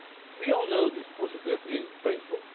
We all know this process has been painful.